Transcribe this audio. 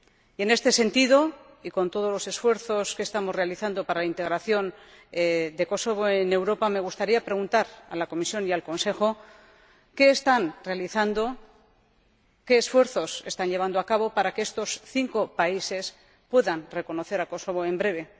Y en este sentido, y con todos los esfuerzos que estamos realizando para la integración de Kosovo en Europa, me gustaría preguntar a la Comisión y al Consejo ¿Qué están haciendo, qué esfuerzos están llevando a cabo para que estos cinco países puedan reconocer a Kosovo en breve?